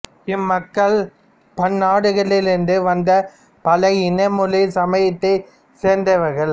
இம் மக்கள் பன்னாடுகளில் இருந்து வந்த பல இன மொழி சமயத்தைச் சேர்ந்தவர்கள்